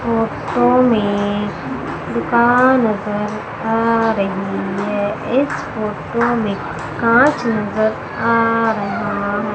photo में दुकान नजर आ रही है इस फोटो में कांच नजर आ रहा--